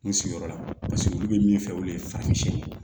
N sigiyɔrɔ la paseke olu bɛ min fɛ olu ye farafin